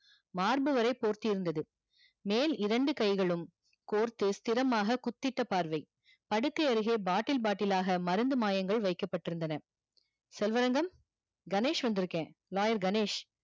மார்பு வரை போர்த்தியிருந்தது, மேல் இரண்டு கைகளும் கோர்த்து ஸ்திரமான குத்திட்ட பார்வை படுக்கை அருகே bottle bottle ஆக மருந்து மாயங்கள் வைக்கப்பட்டிருந்தன செல்வரங்கம் கணேஷ் வந்திருக்கேன் lawyer கணேஷ்